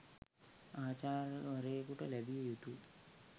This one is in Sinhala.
ආචාර්යවරයෙකුට ලැබිය යුතු